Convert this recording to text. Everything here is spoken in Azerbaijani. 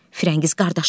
Firəngiz: Qardaşım.